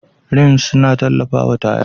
Rims suna tallafawa taya.